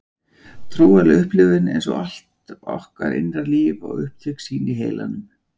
Trúarleg upplifun, eins og allt okkar innra líf, á upptök sín í heilanum.